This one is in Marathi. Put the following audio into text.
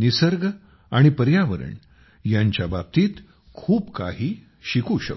निसर्ग आणि अपर्यावरण यांच्या बाबतीत खूप काही शिकू शकतो